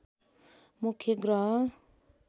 मुख्य ग्रह